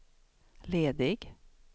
ledig